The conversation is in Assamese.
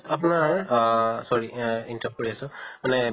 আপনাৰ আহ sorry অহ interrupt কৰি আছো, মানে